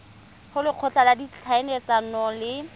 go lekgotla la ditlhaeletsano le